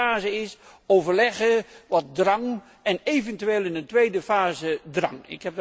De eerste fase is overleggen met wat drang en eventueel in een tweede fase drang.